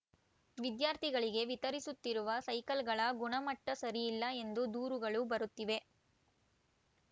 ವಿದ್ಯಾರ್ಥಿಗಳಿಗೆ ವಿತರಿಸುತ್ತಿರುವ ಸೈಕಲ್‌ಗಳ ಗುಣಮಟ್ಟಸರಿಯಿಲ್ಲ ಎಂದು ದೂರುಗಳು ಬರುತ್ತಿವೆ